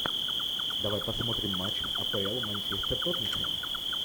давай посмотрим матч а пэ эл манчестер тоттенхэм